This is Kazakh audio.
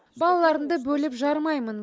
балаларымды бөліп жармаймын